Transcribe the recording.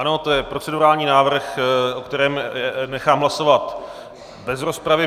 Ano, to je procedurální návrh, o kterém nechám hlasovat bez rozpravy.